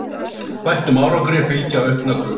Bættum árangri fylgja auknar kröfur.